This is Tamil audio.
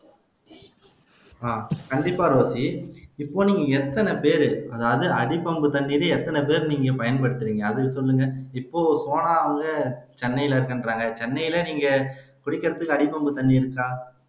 அஹ் கண்டிப்பா ரோஸி இப்போ நீங்க எத்தனை பேர் அதாவது அடிபம்பு தண்ணி எத்தனை பேர் நீங்க பயன் படுத்துறீங்க அதை சொல்லுங்க இப்போ சோனா அவுங்க சென்னைல இருக்கேங்கிறாங்க சென்னைல நீங்க குடிக்கிறதுக்கு அடிபம்பு தண்ணி இருக்கா